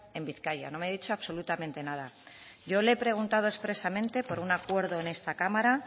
en vizcaya no me ha dicho absolutamente nada yo le he preguntado expresamente por un acuerdo en esta cámara